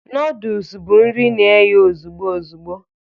Noodus bụ nri na-eghe ozugbo ozugbo